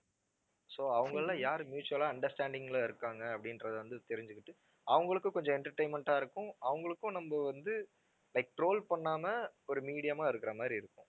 so அவங்கள்ள யாரு mutual ஆ understanding ல இருக்காங்க அப்படின்றதை வந்து தெரிஞ்சுக்கிட்டு அவங்களுக்கும் கொஞ்சம் entertainment ஆ இருக்கும் அவங்களுக்கும் நம்ம வந்து like troll பண்ணாம ஒரு medium ஆ இருக்கிற மாதிரி இருக்கும்